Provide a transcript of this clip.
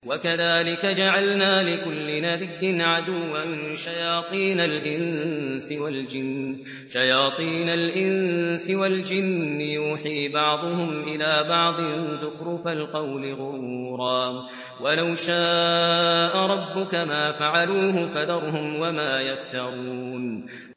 وَكَذَٰلِكَ جَعَلْنَا لِكُلِّ نَبِيٍّ عَدُوًّا شَيَاطِينَ الْإِنسِ وَالْجِنِّ يُوحِي بَعْضُهُمْ إِلَىٰ بَعْضٍ زُخْرُفَ الْقَوْلِ غُرُورًا ۚ وَلَوْ شَاءَ رَبُّكَ مَا فَعَلُوهُ ۖ فَذَرْهُمْ وَمَا يَفْتَرُونَ